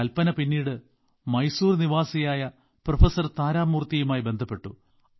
കൽപ്പന പിന്നീട് മൈസൂരു നിവാസിയായ പ്രഫസർ താരമൂർത്തിയുമായി ബന്ധപ്പെട്ടു